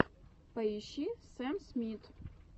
поищи сэм смит